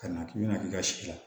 Ka na k'i bɛna k'i ka si la